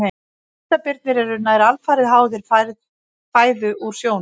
Hvítabirnir eru nær alfarið háðir fæðu úr sjónum.